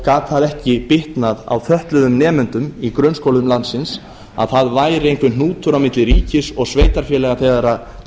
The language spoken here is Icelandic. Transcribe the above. gat það ekki bitnað á fötluðum nemendum í grunnskólum landsins að það væri einhver hnútur á milli ríkis og sveitarfélaga þegar kæmi